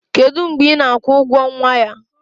kedu mgbe ị na-akwụ ụgwọ nwa ya?